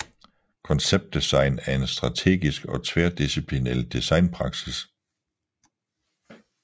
Konceptdesign er en strategisk og tværdisciplinel designpraksis